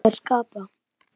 Það er að skapa.